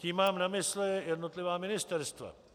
Tím mám na mysli jednotlivá ministerstva.